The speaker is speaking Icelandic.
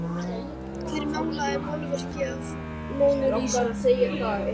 Hver málaði málverkið af Mónu Lísu?